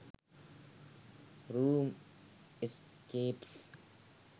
room escapes